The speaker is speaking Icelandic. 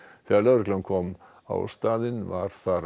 þegar lögreglan kom á staðinn var þar